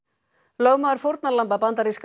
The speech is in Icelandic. lögmaður fórnarlamba bandaríska